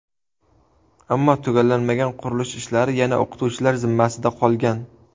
Ammo tugallanmagan qurilish ishlari yana o‘qituvchilar zimmasida qolgan.